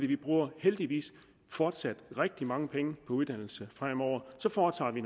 vi bruger heldigvis fortsat rigtig mange penge på uddannelse fremover så foretager vi